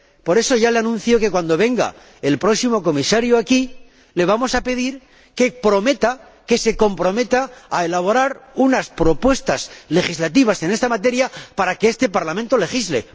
Por eso, ya le anuncio que, cuando venga el próximo Comisario aquí, le vamos a pedir que se comprometa a elaborar unas propuestas legislativas en esta materia para que este Parlamento legisle.